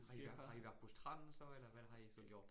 Har i været har i været på stranden så? Eller hvad har I så gjort